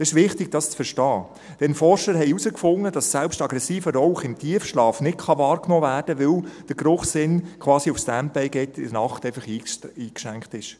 Es ist wichtig, dies zu verstehen, denn Forscher haben herausgefunden, dass selbst aggressiver Rauch im Tiefschlaf nicht wahrgenommen werden kann, weil der Geruchssinn quasi auf Standby gestellt wird und eingeschränkt ist.